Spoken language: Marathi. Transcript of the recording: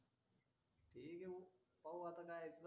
हे व्हिएव भाऊ आता जायचं